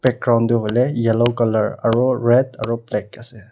background toh hoile yellow color aro red aro black ase.